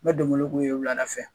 N bɛ donbolo k'u ye' wula da fɛ.